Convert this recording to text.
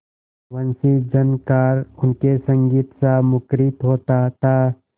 वंशीझनकार उनके संगीतसा मुखरित होता था